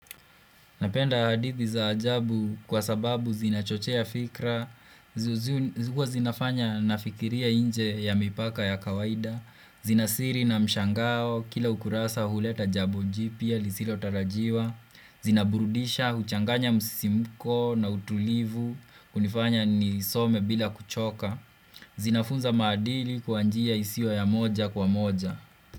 Napenda hadithi za ajabu kwa sababu zinachochea fikra, zinafanya nafikiria nje ya mipaka ya kawaida, zina siri na mshangao, kila ukurasa huleta jabo njipia, lisilo tarajiwa, zina burudisha, huchanganya musisimuko na utulivu, kunifanya nisome bila kuchoka, zinafunza madili kwa njia isiwo ya moja kwa moja.